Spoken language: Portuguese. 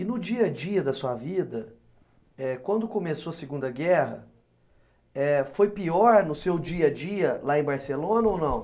E no dia a dia da sua vida, eh quando começou a Segunda Guerra, eh foi pior no seu dia a dia lá em Barcelona ou não?